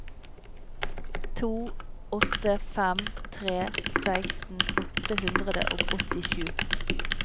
to åtte fem tre seksten åtte hundre og åttisju